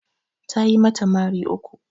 Tayi mata mari uku